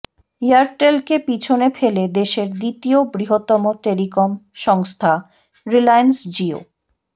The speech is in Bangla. এয়ারটেলকে পিছনে ফেলে দেশের দ্বিতীয় বৃহত্তম টেলিকম সংস্থা রিলায়েন্স জিও